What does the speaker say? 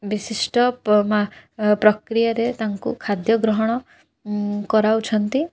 ବିଶିଷ୍ଟ ପମା ଅ ପ୍ରକ୍ରିୟାରେ ତାଙ୍କୁ ଖାଦ୍ୟ ଗ୍ରହଣ ଉଁ କରାଉଛନ୍ତି।